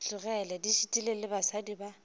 tlogele di šitile basadi ba